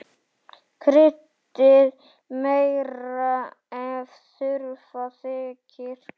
Kryddið meira ef þurfa þykir.